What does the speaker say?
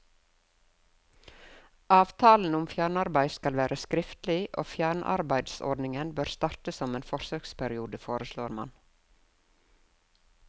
Avtalen om fjernarbeid skal være skriftlig, og fjernarbeidsordninger bør starte som en forsøksperiode, foreslår man.